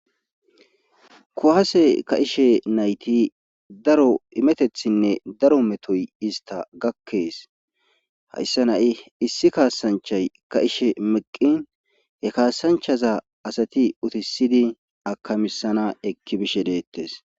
Kuwaase ka'ishe nayti daro imetteththinne daro metoy ista gakkees hayssan ha'i issi kaasanchay ka'ishshe meqqin he kaasanchaza asati utisidi akamiisanas ekki bisshehi deettes